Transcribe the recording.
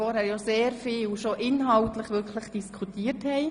Vorhin haben sich sehr viele bereits inhaltlich geäussert.